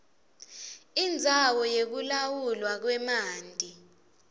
indzawo yekulawulwa kwemanti